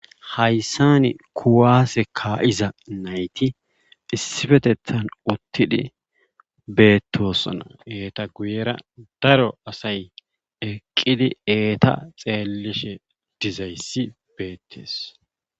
Haysan kuwase ka'iza nayti issipetethan shiiqidi utid betosona.